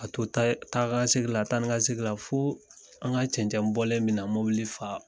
A to tayɛ taga segin la tanika segin la fo an ka cɛncɛnbɔlen mina mobili faa